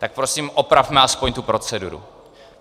Tak prosím opravme aspoň tu proceduru.